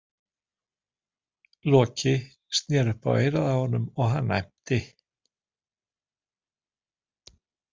Loki sneri upp á eyrað á honum og hann æmti.